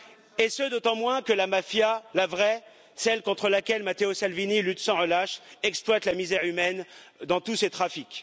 Et ce, d'autant moins que la mafia la vraie, celle contre laquelle Matteo Salvini lutte sans relâche exploite la misère humaine dans tous ces trafics.